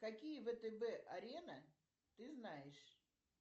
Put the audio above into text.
какие втб арена ты знаешь